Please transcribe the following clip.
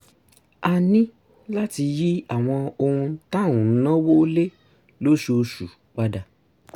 a ní láti yí àwọn ohun tá à ń náwó lé lóṣooṣù padà